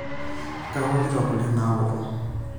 Kaokito kule naaoto.